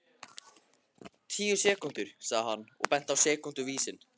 Tíu sekúndur, sagði hann og benti á sekúnduvísinn.